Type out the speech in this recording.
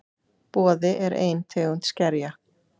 Boði: er ein tegund skerja.